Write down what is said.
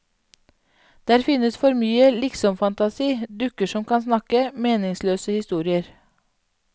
Der finnes for mye liksomfantasi, dukker som kan snakke, meningsløse historier.